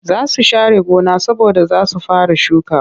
Za su share gona saboda za su fara shuka